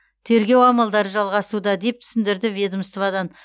тергеу амалдары жалғасуда деп түсіндірді ведомстводан